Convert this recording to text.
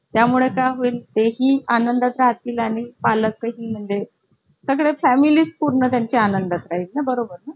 परवाचा जसं बघितलं तर परवाचा आला wednesday ठीक आहे तर